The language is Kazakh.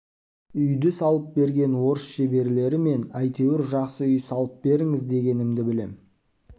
үйді салып берген орыс шеберлері мен әйтеуір жақсы үй салып беріңіз дегенімді білем